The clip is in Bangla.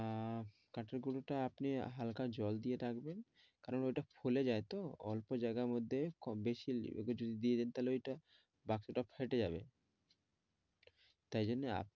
আহ কাঠের গুড়োটা আপনি হাল্কা জল দিয়ে রাখবেন করান ওটা খুলে যায়তো অল্প যায়গার মধ্যে কমবেশি তাহলে ঐটা বাকিটা ফেটে যাবে।